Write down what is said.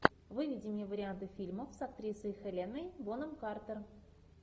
выведи мне варианты фильмов с актрисой хеленой бонем картер